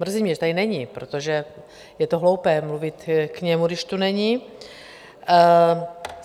Mrzí mě, že tady není, protože je to hloupé mluvit k němu, když tady není.